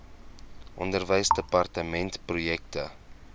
onderwysdepartementprojekte